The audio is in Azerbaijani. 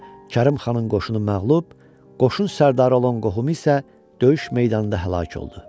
Kərim xanın qoşunu məğlub, qoşun sərkərdarı olan qohumu isə döyüş meydanında həlak oldu.